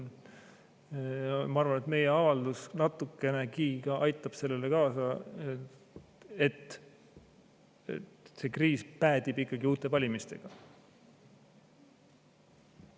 Ma arvan, et meie avaldus natukenegi aitab kaasa, et see kriis päädib ikkagi uute valimistega.